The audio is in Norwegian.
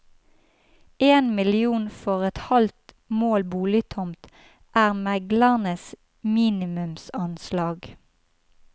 En million for et halvt mål boligtomt er meglernes minimumsanslag.